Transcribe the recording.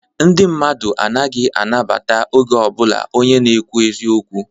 Ndị mmadu anaghị anabata oge ọbụlạ onye na-ekwu eziokwu.